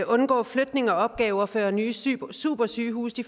undgå flytning af opgaver før de nye supersygehuse